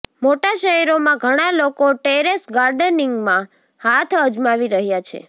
મોટા શહેરોમાં ઘણા લોકો ટેરેસ ગાર્ડનિંગમાં હાથ અજમાવી રહ્યા છે